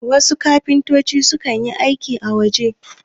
wasu kafintoci sukan yi aiki a waje